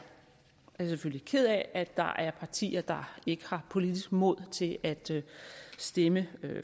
selvfølgelig ked af at der er partier der ikke har politisk mod til at stemme